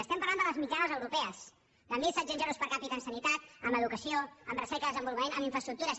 estem parlant de les mitjanes europees de mil set cents euros per capitasanitat en educació en recerca en desenvolupament en infraestructures